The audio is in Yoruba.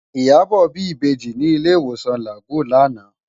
Iyabo bi ibèji ni ilé iwósán Lágúùn làná